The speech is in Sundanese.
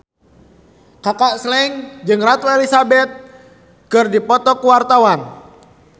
Kaka Slank jeung Ratu Elizabeth keur dipoto ku wartawan